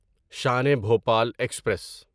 Shan e Bhopal express